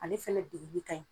Ale fɛnɛ degeli ka ɲi